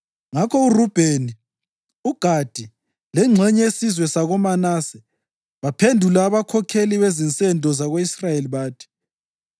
Ngakho uRubheni, uGadi lengxenye yesizwe sakoManase baphendula abakhokheli bezinsendo zako-Israyeli bathi: